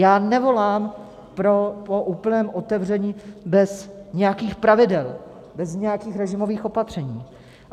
Já nevolám po úplném otevření bez nějakých pravidel, bez nějakých režimových opatření.